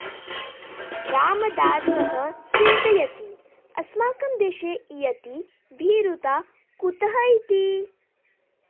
रामदासः चिन्तयति अस्माकं देशे इयती भीरुता कुतः इति